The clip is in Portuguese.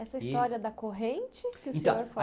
Essa história da corrente, que o senhor